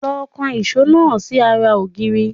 Lọ kan ìṣó náà si ará ògiri